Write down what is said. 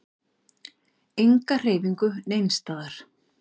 Enga hreyfingu neins staðar.